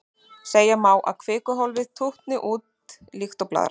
Segja má að kvikuhólfið tútni út líkt og blaðra.